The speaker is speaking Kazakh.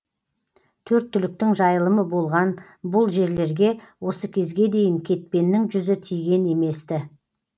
төрт түліктің жайылымы болған бұл жерлерге осы кезге дейін кетпеннің жүзі тиген емес ті